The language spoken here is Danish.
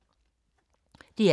DR K